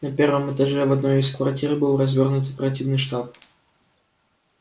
на первом этаже в одной из квартир был развёрнут оперативный штаб